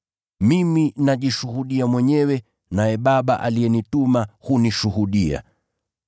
Mimi najishuhudia mwenyewe, naye Baba aliyenituma hunishuhudia.”